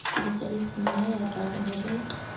kedisaletse nnyaya rra re ne